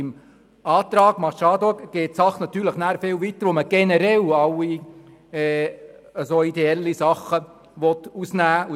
Der Antrag Machado geht natürlich viel weiter, weil er alle ideellen Veranstaltungen ausschliessen will.